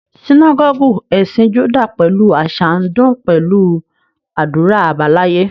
Sínágọ́gù ẹ̀sìn Júdà pẹ̀lú àṣà ń dún pẹ̀lú àdúrà àbáláyé